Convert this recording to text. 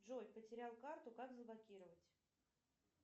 джой потерял карту как заблокировать